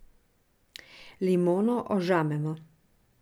Limono ožamemo.